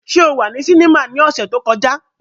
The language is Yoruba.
Ṣe o wa ni sinima ni ọsẹ to kọja?